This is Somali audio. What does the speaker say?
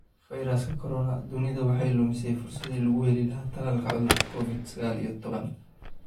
Fayraska Corona: Dunidu waxay lumisay fursaddii lagu heli lahaa tallaalka cudurka Covid-sagal iyo toban